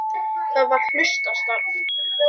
Það var hlutastarf.